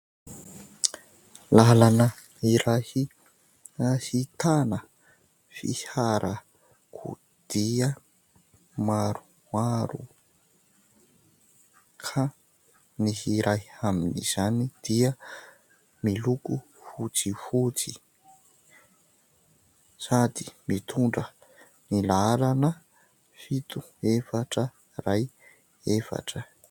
Lalana iray ahitana fiarakodia maromaro ; ka ny iray amin'izany dia miloko fotsifotsy ; sady mitondra ny laharana : fito, efatra, iray, efatra.